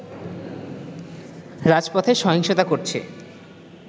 রাজপথে সহিংসতা করছে